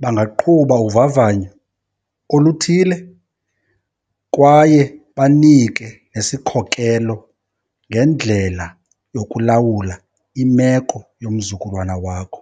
bangaqhuba uvavanyo oluthile kwaye banike nesikhokelo ngendlela yokulawula imeko yomzukulwana wakho.